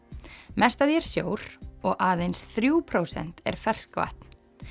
mest af því er sjór og aðeins þrjú prósent er ferskvatn